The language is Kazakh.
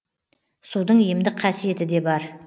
судың емдік қасиеті де бар